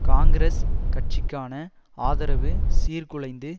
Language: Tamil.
காங்கிரஸ் கட்சிக்கான ஆதரவு சீர்குலைந்து